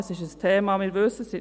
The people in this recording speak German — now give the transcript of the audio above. Es ist ein Thema, wir wissen es;